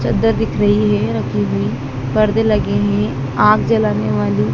चद्दर दिख रही है रखी हुई पर्दे लगे हैं आग जलाने वाली--